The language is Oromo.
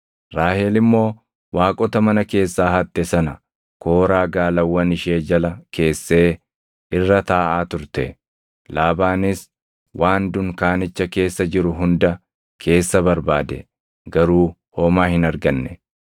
Raahel immoo waaqota mana keessaa hatte sana kooraa gaalawwan ishee jala keessee irra taaʼaa turte. Laabaanis waan dunkaanicha keessa jiru hunda keessa barbaade; garuu homaa hin arganne.